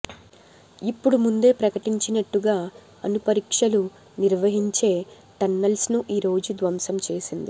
ఇప్పుడు ముందే ప్రకటించినట్టుగా అణు పరీక్షలు నిర్వహించే టన్నల్స్ను ఈ రోజు ధ్వంసం చేసింది